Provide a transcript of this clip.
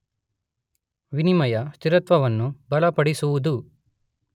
ವಿನಿಮಯ ಸ್ಥಿರತ್ವವನ್ನು ಬಲಪಡಿಸುವುದು.